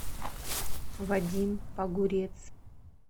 вадим погурец